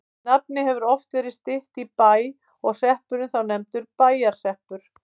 Nafnið hefur oft verið stytt í Bæ og hreppurinn þá nefndur Bæjarhreppur.